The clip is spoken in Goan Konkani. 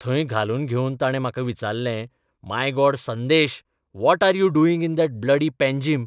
थंय घालून घेवन ताणे म्हाका विचारलेंः my God Sandesh, what are you doing in that bloody Panjim?